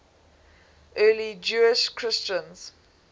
early jewish christians